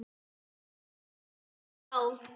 Við studdum þá!